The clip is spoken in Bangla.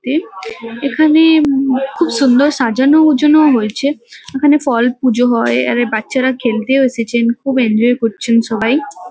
তে এখানে উম খুব সুন্দর সাজানো গুছানো হয়েছে। এখানে ফল পুজো হয় আর এ বাচ্চারা খেলতেও এসেছেন। খুব এনজয় করছেন সবাই।